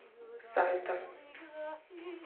сальта